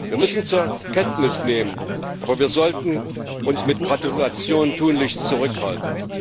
Wir müssen das zur Kenntnis nehmen, aber wir sollten uns mit Gratulationen tunlichst zurückhalten.